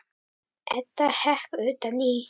Edda hékk utan í.